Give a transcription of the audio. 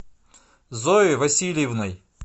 зоей васильевной